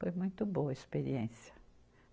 Foi muito boa a experiência.